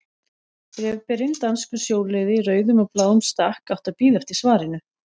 Bréfberinn, danskur sjóliði í rauðum og bláum stakk, átti að bíða eftir svarinu.